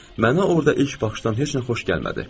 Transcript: Mənə orada ilk baxışdan heç nə xoş gəlmədi.